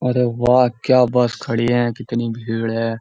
अरे वाह क्या बस खड़ी है कितनी भीड़ है।